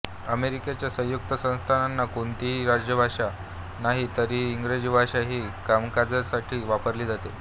अमेरिकेच्या संयुक्त संस्थानांना कोणतीही राजभाषा नाही तरीही इंग्रजी भाषा ही कामकाजासाठी वापरली जाते